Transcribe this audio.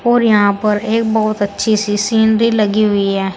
और यहां पर एक बहुत अच्छी सी सीनरी लगी हुई है।